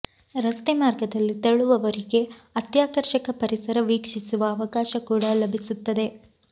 ರಸ್ತೆ ಮಾರ್ಗದಲ್ಲಿ ತೆರಳುವವರಿಗೆ ಅತ್ಯಾಕರ್ಷಕ ಪರಿಸರ ವೀಕ್ಷಿಸುವ ಅವಕಾಶ ಕೂಡ ಲಭಿಸುತ್ತದೆ